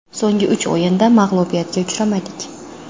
So‘nggi uch o‘yinda mag‘lubiyatga uchramadik.